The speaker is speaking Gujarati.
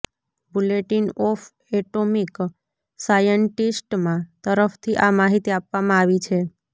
બુલેટિન ઓફ એટોમિક સાયન્ટિસ્ટમાં તરફથી આ માહિતી આપવામાં આવી છે